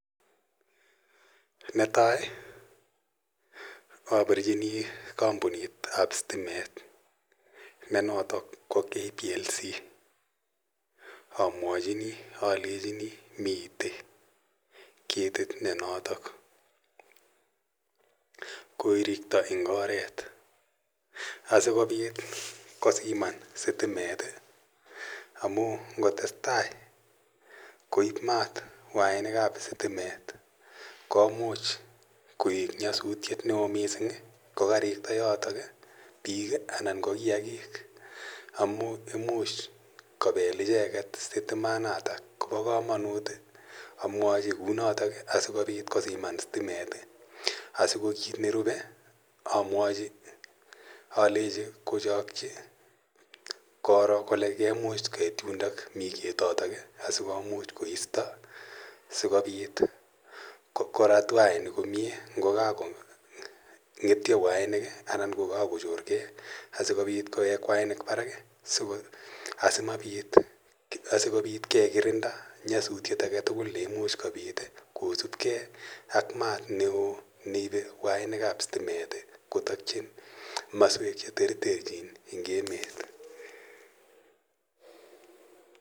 Netai abirchini kampunit ap stimet ne notok ko kplc amuachini alechini mitei ketit ne notok koirikto eng oret asikopit kosiman sitimet amu ngotestai koip maat wainik ap sitimet komuch koek nyosutiet neo mising kokarikta yotok biik ana ko kiakik amun imuch kopell icheket sitimanatak Kobo komonut amwochi kunoto asikopit kosiman sitimet asiko kiit nerubei amwochi alechi kochokchi koro kole koimuch kait yundo mii ketotok asikomuch koisto sikopit korat wainik komie ngokakongetio wainik anan kokako chorkee asikopit kowek wainik koba barak siko asimapit sikobit kekirinda nyosutiet age tugul neimuch kobit kosupkei ak maat neo neibe wainik ap sitimet kotokchin komoswek cheterter chin eng emet